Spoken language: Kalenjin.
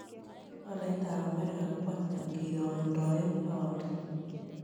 Tolaitap amerika ko ata ngirogendoen paondit